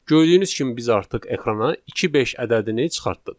Gördüyünüz kimi biz artıq ekrana 2 5 ədədini çıxartdıq.